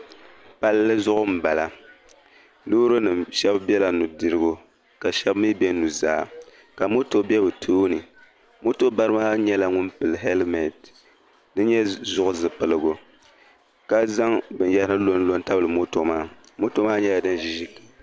Palli zuɣu m bala, lɔɔrinim shabi bela nudirigu ka shabi mi be nuzaa, ka mɔtɔ be ɔ tooni, mɔtɔ bari maa nyɛla ŋun pili healiment. dini n nyɛ zuɣu zi piligu, ka zaŋ bɛn yahiri n lɔ n tabili mɔtɔ maa, mɔtɔ maa nyɛla din ʒi ʒili.